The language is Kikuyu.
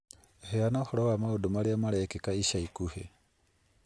Heana ũhoro wa maũndũ marĩa marekĩka ica ikuhĩ